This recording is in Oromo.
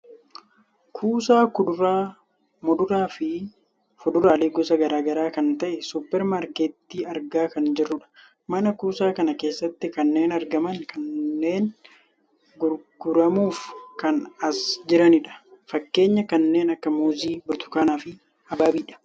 kuusaa kuduraaa, muduraafi fuduraalee gosa gara garaa kan ta'e suupper maarkettii argaa kan jirrudha. mana kuusaa kana keessatti kanneen argaman kunneen gurguramuuf kan as jiranidha. fakkeenyaaf kanneen akka muuzii burtukaanaa fi habaabiidha.